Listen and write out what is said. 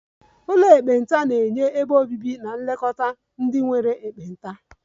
Ụlọ ekpenta na-enye ebe obibi na nlekọta ndị nwere ekpenta